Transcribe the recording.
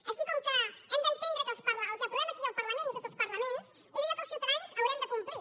així com que hem d’entendre que el que aprovem aquí al parlament i a tots els parlaments és allò que els ciutadans haurem de complir